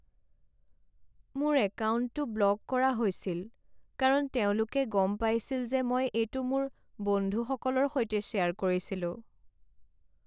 মোৰ একাউণ্টটো ব্লক কৰা হৈছিল কাৰণ তেওঁলোকে গম পাইছিল যে মই এইটো মোৰ বন্ধুসকলৰ সৈতে শ্বেয়াৰ কৰিছিলোঁ।